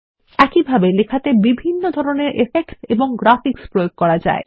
একইভাবে লেখাতে বিভিন্ন ধরনের ইফেক্টস এবং গ্রাফিক্স প্রয়োগ করা যায়